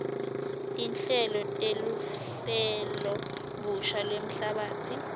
tinhlelo teluhlelobusha lwemhlabatsi